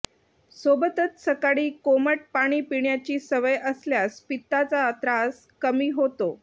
सोबतच सकाळी कोमट पाणी पिण्याची सवय असल्यास पित्ताचा त्रास कमी होतो